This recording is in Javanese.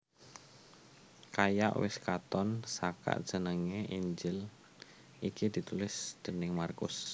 Kaya wis katon saka jenengé Injil iki ditulis déning Markus